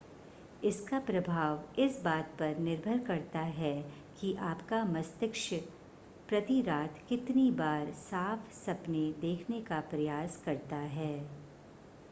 इसका प्रभाव इस बात पर निर्भर करता है कि आपका मस्तिष्क प्रति रात कितनी बार साफ़ सपने देखने का प्रयास करता है